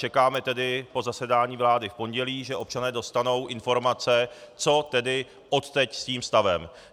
Čekáme tedy po zasedání vlády v pondělí, že občané dostanou informace, co tedy odteď s tím stavem.